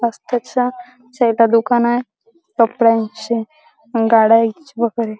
रस्त्याच्या साईडला दुकानय कपड्याचे गाड्या --